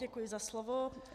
Děkuji za slovo.